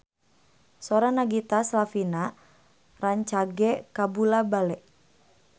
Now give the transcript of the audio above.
Sora Nagita Slavina rancage kabula-bale